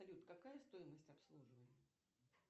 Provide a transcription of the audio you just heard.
салют какая стоимость обслуживания